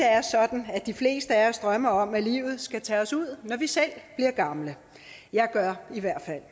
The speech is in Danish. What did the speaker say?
er sådan de fleste af os drømmer om at livet skal tage sig ud når vi selv bliver gamle jeg gør i hvert fald